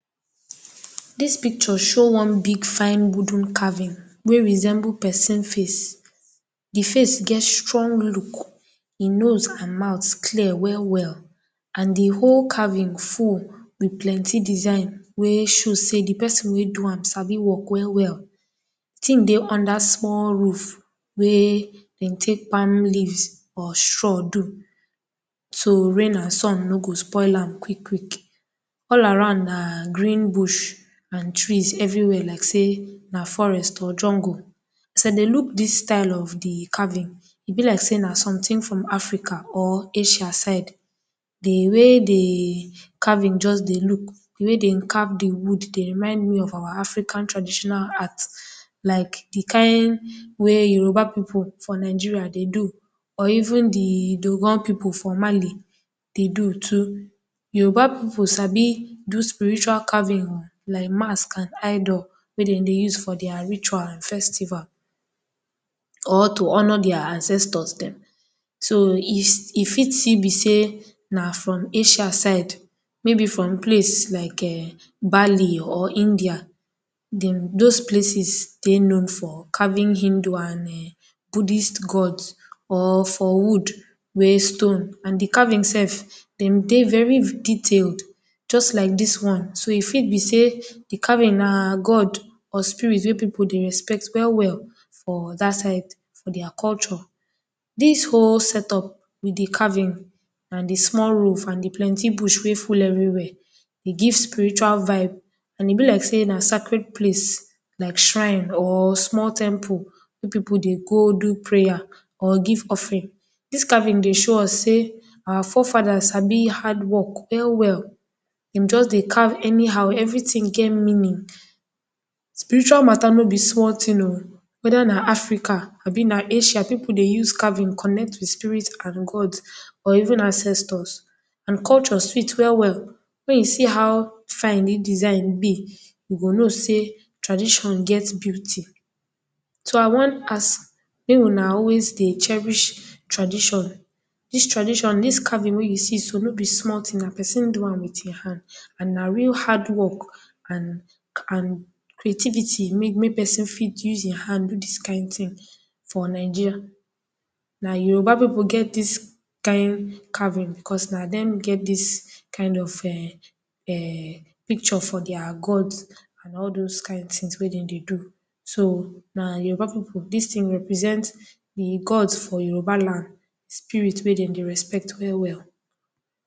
Dis picture show one big fine wooden caving wey resemble person face, di face get strong look, di nose and mouth clear well well and di whole caving full with plenty design wey show say di person wey do am sabi work well well, di tin dey under small roof wey dem take palm leaves or straw do, so rain and sun no o spoil am quick quick, all around na green bush and trees everywhere like say na forest or jungle as I dey look dis style of caving e bi like say na something from Africa or Asia side, di way di caving just dey look, di wey dey carve di wood Dey remind me of our African traditional art like di kind wey di Yoruba people for Nigeria Dey do or even di Dogon people for Mali dey do too, Yoruba people too sabi do spiritual caving I, like mask and idol wey dem dey use for ritual and festival or to honor dia ancestors dem so e fit still be say na from Asia side maybe from place like um Bali or India dem, those places dey know for caving Hindu and um budist god or for wood wey stone and di caving self dem dey very detailed just like dis one so e fit bí say di caving na god or spirit wey people dey respect well well for Dat side or dia culture, dis whole set up with di caving and di small roof and di plenty roof wey dey full everywhere, ẹ give spiritual vibe, e bi like say na sacred place like shrine or small temple wey people dey go do prayer or give offering, dis caving dey show us say our forefather sabi hardwork well well, dem just dey carve anyhow, everything get meaning, spiritual matter no bi small tin o weather na Africa abi na Asia, people dey use caving connect with spirit and gods or even ancestors and culture fit well well wey e see how fine di design bi, you go know say tradition get beauty so I won ask make una always dey cherish tradition, dis tradition, dis caving wey you see so no bi small tin, na peson do am with e hand and na real hardwork and and creativity make person fit use e hand fit do dis kind tin for Nigeria, na Yoruba people get dis kind tin costna dem get dis kind of um um picture for dia gods and all those kind tin wey dem dey do, so na Yoruba people, dis tin represent di gods for Yoruba land, spirit wey dem dey respect well well